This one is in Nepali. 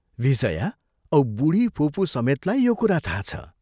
विजया औ बूढी फुपूसमेतलाई यो कुरा थाहा छ।